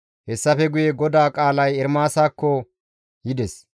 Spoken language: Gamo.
Hessafe guye GODAA qaalay Ermaasakko yides.